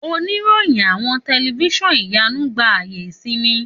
Òníròyìn àwọn tẹlifiṣionu ìyánú gba ayé ìsinmi.